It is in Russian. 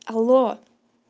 алло